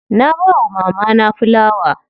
Na bawa mamana filawa.